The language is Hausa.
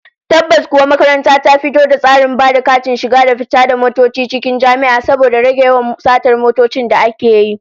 Tabbas kuwa, makaranta ta fito da tsarin ba da katin shiga da fita da motoci cikin jami'a, saboda rage yawan satar motoci da ake yi